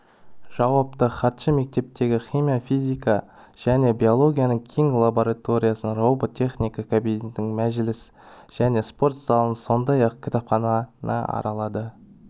жауапты хатшы мектептегі химия физика және биологияның кең лабораториясын робот техникасы кабинетін мәжіліс және спорт залын сондай-ақ кітапхананы аралады